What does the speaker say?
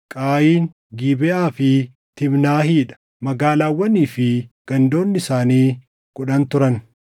Qaayin, Gibeʼaa fi Tiimnaahii dha; magaalaawwanii fi gandoonni isaanii kudhan turan.